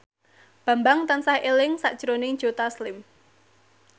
Bambang tansah eling sakjroning Joe Taslim